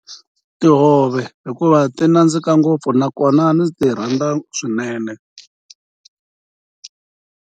Tihove hikuva ti nandzika ngopfu nakona ndzi ti rhandza swinene.